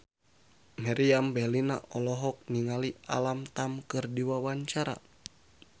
Meriam Bellina olohok ningali Alam Tam keur diwawancara